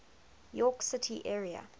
york city area